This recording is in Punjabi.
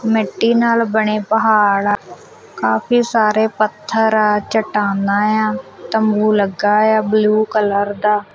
ਮਿੱਟੀ ਨਾਲ ਬਣੇ ਪਹਾੜ ਕਾਫੀ ਸਾਰੇ ਪੱਥਰ ਚਟਾਨਾ ਆ ਤੰਬੂ ਲੱਗਾ ਆ ਬਲੂ ਕਲਰ ਦਾ।